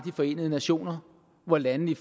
forenede nationer hvor landene